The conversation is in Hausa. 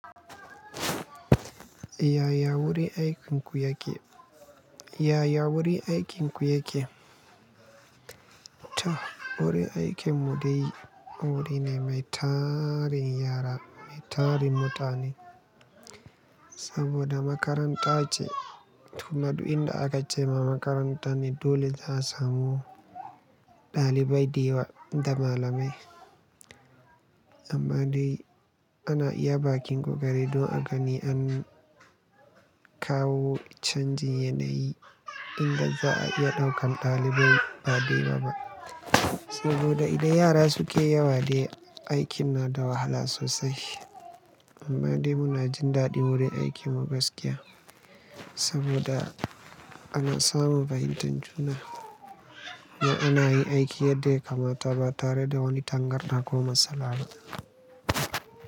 Yaya wuri aikin ku yake? Yaya wuri aikin ku yake? To wuri aikin mu dai wuri ne mai tarin yara, mai tarin mutane. Saboda makaranta ce. Tuma du inda aka ce ma makaranta ne dole za a samu ɗalibai, da yawa da malamai. Amman dai ana iya ba kin ko gari don a gani an kawo canji yanayi inda za a iya ɗaukan ɗalibai ba dayawa ba. Saboda idan yara suke yawa dai aikin na da wahala sosai. Amma dai muna jin daɗin wuri aikin mu gaskiya saboda ana samu fahimtan juna. Ni ina yin aiki yadda ya kamata ba tare da wani tangarda ko matsala ba.